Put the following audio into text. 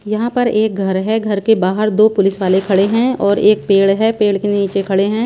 यहाँ पर एक घर हैं घर के बाहर दो पुलिस वाले खड़े हैं और एक पेड़ है पेड़ के नीचे खड़े हैं।